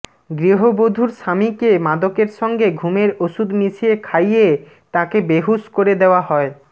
গৃহবধূর স্বামীকে মাদকের সঙ্গে ঘুমের ওষুধ মিশিয়ে খাইয়ে তাঁকে বেঁহুশ করে দেওয়া হয়